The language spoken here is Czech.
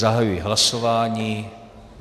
Zahajuji hlasování.